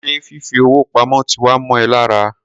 Ṣé fifi owó pamó ti wá mọ ẹ lára?